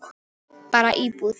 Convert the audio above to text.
Bara íbúð.